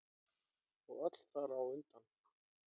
Og öll þar á undan.